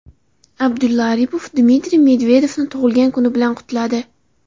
Abdulla Aripov Dmitriy Medvedevni tug‘ilgan kuni bilan qutladi.